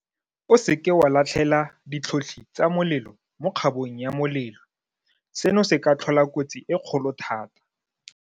O seke wa latlhela ditlhotlhi tsa molelo mo kgabong ya molelo. Seno se ka tlhola kotsi e kgolo thata.